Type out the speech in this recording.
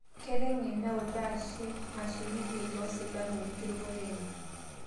Keiteng'en neutaa sheikh washiriki loo silamu enkirukoto enye